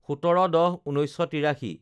১৭/১০/১৯৮৩